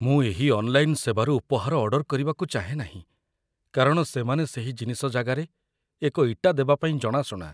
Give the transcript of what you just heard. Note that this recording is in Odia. ମୁଁ ଏହି ଅନ୍‌ଲାଇନ୍‌‌ ସେବାରୁ ଉପହାର ଅର୍ଡର୍ କରିବାକୁ ଚାହେଁ ନାହିଁ କାରଣ ସେମାନେ ସେହି ଜିନିଷ ଜାଗାରେ ଏକ ଇଟା ଦେବାପାଇଁ ଜଣାଶୁଣା